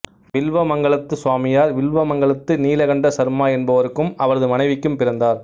வில்வமங்கலத்து சுவாமியார் வில்வமங்கலத்து நீலகண்ட சர்மா என்பவருக்கும் அவரது மனைவிக்கும் பிறந்தார்